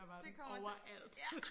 Det kommer til ja